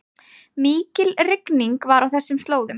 Mikil rigning var á þessum slóðum